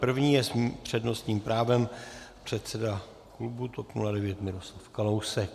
První je s přednostním právem předseda klubu TOP 09 Miroslav Kalousek.